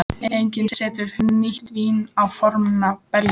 Enginn setur nýtt vín á forna belgi.